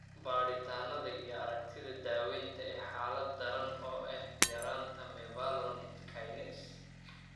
Baadhitaannada iyo aragtida daawaynta ee xaalad daran oo ah yaraanta mevalonate kinase.